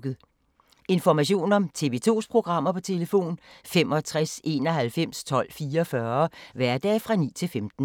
Information om TV 2's programmer: 65 91 12 44, hverdage 9-15.